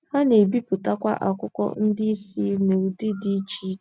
Ha na - ebipụtakwa akwụkwọ ndị ìsì n’ụdị dị iche iche.